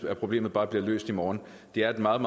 at problemet bare bliver løst i morgen det er et meget